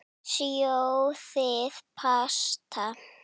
Sjóðið pasta.